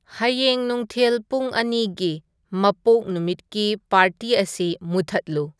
ꯍꯌꯦꯡ ꯅꯨꯨꯡꯊꯤꯜ ꯄꯨꯡ ꯑꯅꯤꯒꯤ ꯃꯄꯣꯛ ꯅꯨꯃꯤꯠꯀꯤ ꯄꯥꯔꯇꯤ ꯑꯁꯤ ꯃꯨꯊꯠꯂꯨ